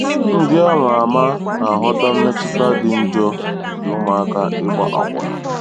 Ndị a ma ama na-aghọta mmetụta dị njọ nke ụmụaka ịgba akwụna.